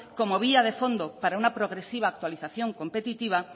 como vía de fondo para una progresiva actualización competitiva